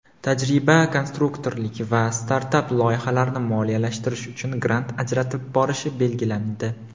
tajriba-konstruktorlik va startap loyihalarni moliyalashtirish uchun grant ajratib borishi belgilandi.